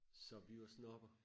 Så vi var sådan oppe og